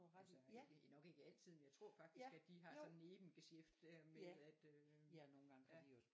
Altså ikke nok ikke altid men jeg tror faktisk at de har sådan nebengesjæft der med at øh ja